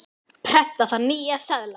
Prenta þarf nýja seðla.